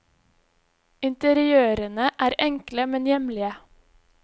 Interiørene er enkle, men hjemlige.